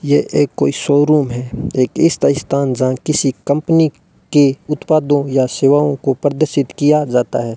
यह एक कोई शोरूम है एक इस्ता स्थान जहां किसी कंपनी के उत्पादों या सेवाओं को प्रदर्शित किया जाता है।